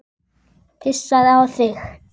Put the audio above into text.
Pissaðu á þig.